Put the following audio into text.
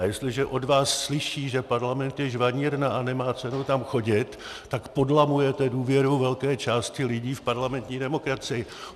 A jestliže od vás slyší, že parlament je žvanírna a nemá cenu tam chodit, tak podlamujete důvěru velké části lidí v parlamentní demokracii.